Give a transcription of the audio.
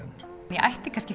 ég ætti kannski